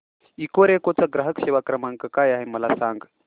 Ecoreco चा ग्राहक सेवा क्रमांक काय आहे मला सांग